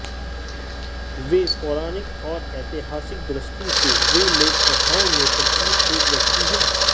वे पौराणिक और ऐतिहासिक दृष्टि से वे लोक कथाओं में प्रचलित एक व्यक्ति हैं